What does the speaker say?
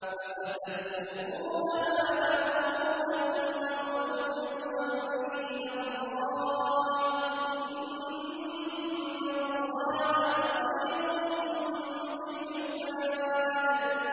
فَسَتَذْكُرُونَ مَا أَقُولُ لَكُمْ ۚ وَأُفَوِّضُ أَمْرِي إِلَى اللَّهِ ۚ إِنَّ اللَّهَ بَصِيرٌ بِالْعِبَادِ